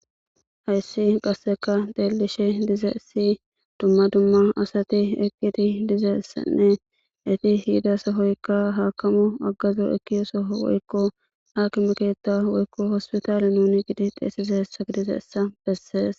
Hayisan qaseka xelishe dizayis duma duma asati eqidi dizayisanee eti diza sohoyika hakamo woyiko agazo ekida soho woyiko akimeketh woyiko hospitale beses